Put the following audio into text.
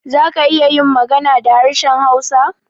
Za ka iya yin magana da harshen hausa?